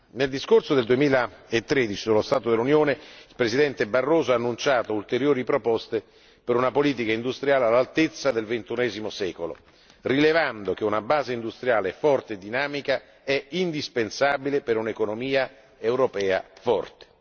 Nel discorso del 2013 sullo stato dell'Unione, il presidente Barroso ha annunciato ulteriori proposte per una politica industriale all'altezza del XXI secolo, rilevando che una base industriale solida e dinamica è indispensabile per un'economia europea forte.